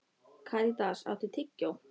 Karítas, áttu tyggjó?